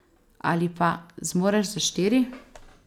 Ali pa: 'Zmoreš za štiri.